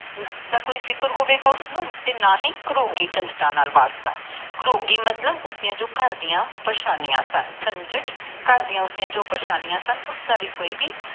ਦਾ ਕੋਈ ਫਿਕਰ ਹੋਵੇਗਾ ਉਸਨੂੰ ਨਾ ਹੀ ਗਰੋਗੀ ਵਰਤਣ ਗਰੋਗੀ ਮਤਲਬ ਉਸ ਦੀਆ ਜੋ ਘਰਦਿਆਂ ਪ੍ਰੇਸ਼ਾਨੀਆਂ ਮਾਤਲੰਬ ਝੰਝਰ ਘਰਦਿਆਂ ਜੋ ਪੜ੍ਹਨੀਆਂ ਸਨ ਉਸਦਾ ਵੀ ਕੋਈ ਵੀ